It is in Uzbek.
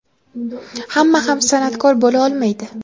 hamma ham san’atkor bo‘la olmaydi.